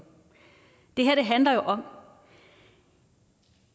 handler om